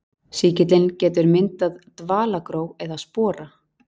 Sýkillinn getur myndað dvalagró eða spora.